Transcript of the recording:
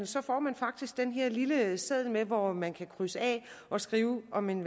så får man faktisk den her lille seddel med hvor man kan krydse af og skrive om man